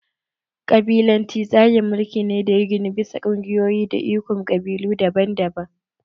Ƙabilanci tsarin mulki ne da ya ginu bisa ƙungiyoyi da ikon ƙabilu daban-daban